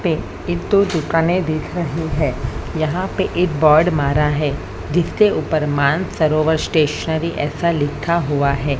इतो दुकाने दिख रही है यहां पे एक बर्ड मारा है दिखते ऊपर मानसरोवर स्टेशनरी ऐसा लिखा हुआ है।